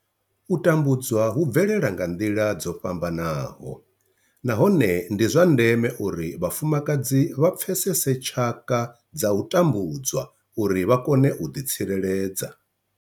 U tambudzwa hu bvelela nga nḓila dzo fhambanaho nahone ndi zwa ndeme uri vhafumakadzi vha pfesese tshaka dza u tambudzwa uri vha kone u ḓitsireledza.